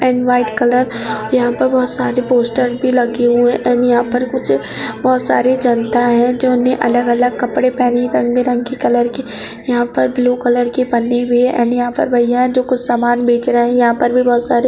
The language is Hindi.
एन्ड वाइट कलर यह पर बहुत सारे पोस्टर भी लगे हुए हैं एन्ड यहां पर कुछ बहुत सारी जनता है जो उन्हें अलग-अलग कपड़े पहनी रंगबिरगी कलर की यह पर ब्लू कलर की पन्नी भी है एन्ड यहां पर भइया है जो कुछ सामान बेच रहे हैं यहां पर भी बहुत सारे --